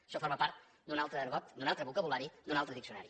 això forma part d’un altre argot d’un altre vocabulari d’un altre diccionari